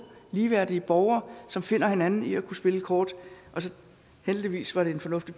ligeværdige borgere som finder hinanden i at kunne spille kort heldigvis var det en fornuftig